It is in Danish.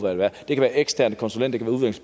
eksterne konsulenter det kunne være